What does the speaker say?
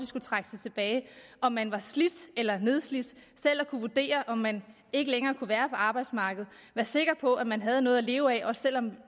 skulle trække sig tilbage om man var slidt eller nedslidt selv at kunne vurdere om man ikke længere kunne være på arbejdsmarkedet være sikker på at man havde noget at leve af også selv om